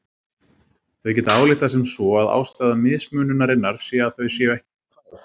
Þau geta ályktað sem svo að ástæða mismununarinnar sé að þau séu ekki nógu þæg.